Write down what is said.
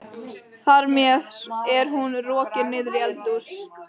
Þar með er hún rokin niður í eldhús.